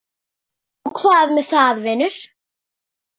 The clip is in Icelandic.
Og hvað með það, vinur?